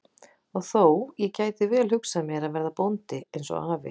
Og þó, ég gæti vel hugsað mér að verða bóndi eins og afi.